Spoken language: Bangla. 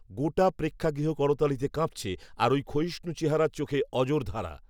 গোটা প্রেক্ষাগৃহ করতালিতে কাঁপছে আর ওই ক্ষয়িষ্ণু চেহারার চোখে অঝোরধারা